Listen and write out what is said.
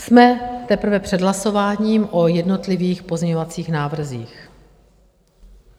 Jsme teprve před hlasováním o jednotlivých pozměňovacích návrzích.